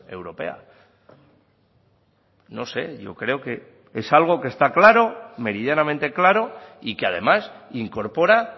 europea no sé yo creo que es algo que está claro meridianamente claro y que además incorpora